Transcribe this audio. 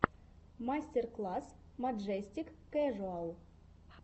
мастер класс маджестик кэжуал